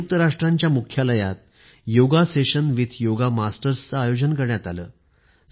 संयुक्त राष्ट्रसंघाच्या मुख्यालयात योग मास्तरांबरोबर योग वर्गाचे आयोजन करण्यात आले होते